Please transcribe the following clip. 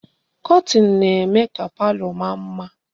Kọtin na-eme ka palo maa mma.